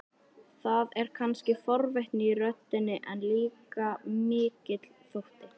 Það er kannski forvitni í röddinni, en líka mikill þótti.